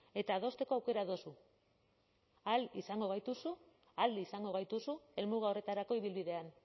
eta adosteko aukera duzu ahal izango gaituzu ahal izango gaituzu helmuga horretarako ibilbidean